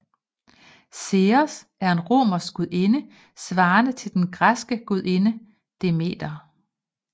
Ceres er en romersk gudinde svarende til den græske gudinde Demeter